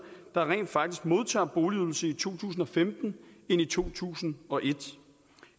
der rent faktisk modtager boligydelse i to tusind og femten end i to tusind og et